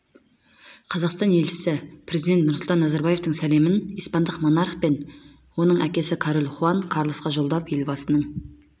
қазақстан елшісі президент нұрсұлтан назарбаевтың сәлемін испандық монарх пен оның әкесі король хуан карлосқа жолдап елбасының